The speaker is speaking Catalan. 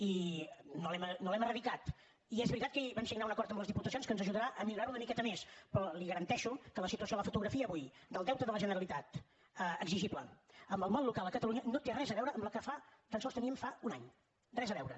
i no l’hem eradicat i és veritat que ahir vam signar un acord amb les diputacions que ens ajudarà a millorarho una miqueta més però li garanteixo que la situació la fotografia avui del deute de la generalitat exigible amb el món local a catalunya no té res a veure amb la que tan sols teníem fa un any res a veure